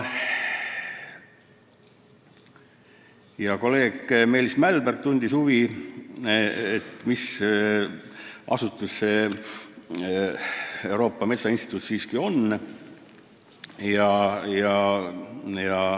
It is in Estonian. Hea kolleeg Meelis Mälberg tundis huvi, mis asutus see Euroopa Metsainstituut ikkagi on.